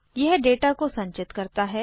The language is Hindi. यह डेटा को संचित करता है